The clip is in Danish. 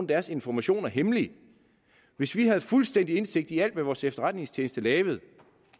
deres informationer hemmelige hvis vi havde fuldstændig indsigt i alt hvad vores efterretningstjeneste lavede